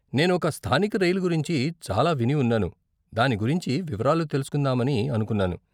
నేను ఒక స్థానిక రైలు గురించి చాలా విని ఉన్నాను, దాని గురించి వివరాలు తెలుసుకుందామని అనుకున్నాను.